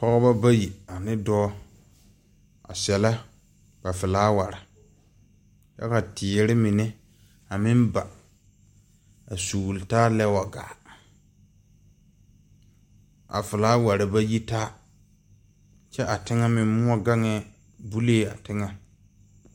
Pɔŋeba bayi ane dɔɔ,a sɛllɛ ba felaaware kyɛ ka teere mine a meŋ ba a sɔgle taa lɛ wa gaa, a felaaware wa yitaa, kyɛ a teŋɛ meŋ moɔ gaŋɛɛ a bolee a teŋɛ